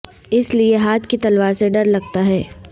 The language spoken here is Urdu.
اس لئے ہاتھ کی تلوار سے ڈر لگتا ہے